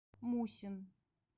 мусин